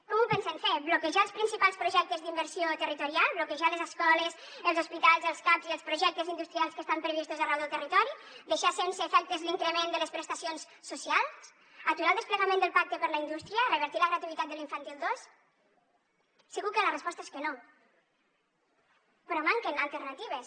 com ho pensen fer bloquejar els principals projectes d’inversió territorial bloquejar les escoles els hospitals els caps i els projectes industrials que estan previstos arreu del territori deixar sense efectes l’increment de les prestacions socials aturar el desplegament del pacte per a la indústria revertir la gratuïtat de l’infantil dos segur que la resposta és que no però manquen alternatives